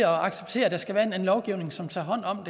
acceptere at der skal være en lovgivning som tager hånd om